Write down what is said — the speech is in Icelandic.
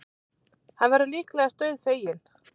Hann verður líklegast dauðfeginn.